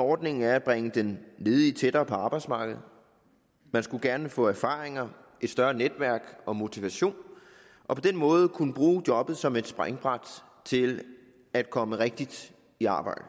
ordningen er at bringe den ledige tættere på arbejdsmarkedet man skulle gerne få erfaringer et større netværk og motivation og på den måde kunne bruge jobbet som et springbræt til at komme rigtigt i arbejde